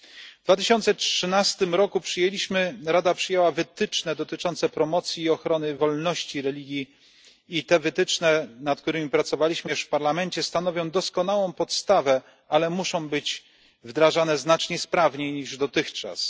W 2013 r. Rada przyjęła wytyczne dotyczące promocji i ochrony wolności religii. I wytyczne, nad którymi pracowaliśmy również w Parlamencie, stanowią doskonałą podstawę, ale muszą być wdrażane znacznie sprawniej niż dotychczas.